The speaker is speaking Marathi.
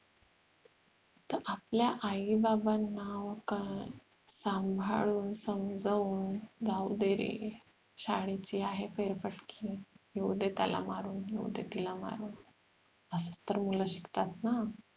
तर आपल्या आई बाबांना कळ सांभाळून समजवून जाऊ दे रे शाळेचे आहे फेरफेटके येऊ द्या त्याला मारून येऊ तिला मारून असाच तर मुलं शिकतात ना